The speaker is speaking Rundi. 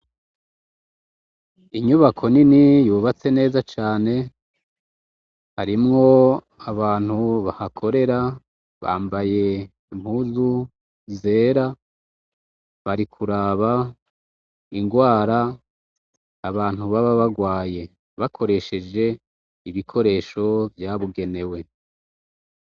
Inyubako nini yubatse neza cane, harimwo abantu bahakorera, bambaye impuzu zera bari kuraba ingwara abantu baba bagwaye bakoresheje ibikoresho vyabugenewe.